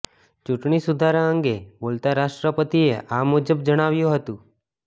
ચૂંટણી સુધારા અંગે બોલતા રાષ્ટ્રપતિએ આ મુજબ જણાવ્યું હતું